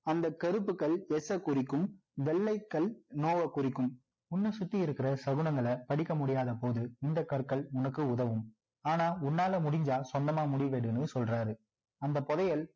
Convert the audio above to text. அந்த கருப்பு கல் yes சை குறிக்கும் வெள்ளை கல் no வைக் குறிக்கும் உன்னை சுத்தி இருக்கிற சகுனங்களை படிக்க முடியாத போது இந்த கற்கள் உனக்கு உதவும் ஆனா உன்னால முடிஞ்சா சொந்தமா முடிவு எடுன்னு சொல்றாரு அந்த புதையல்